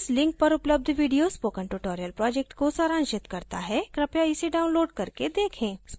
इस link पर उपलब्ध video spoken tutorial project को सारांशित करता है कृपया इसे download करके देखें